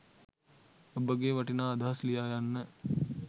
ඔබගේ වටිනා අදහස් ලියා යන්න